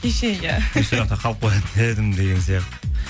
кеше иә қалып қоятын едім деген сияқты